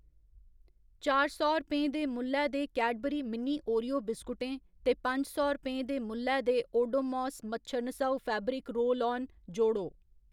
चार सौ रपें दे मुल्लै दे कैडबरी मिनी ओरियो बिस्कुटें ते पंज सौ रपेंऽ दे मुल्लै दे ओडोमोस मच्छर नसाऊ फैब्रिक रोल आन जोड़ो।